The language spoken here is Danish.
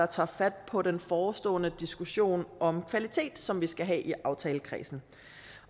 tage fat på den forestående diskussion om kvalitet som vi skal have i aftalekredsen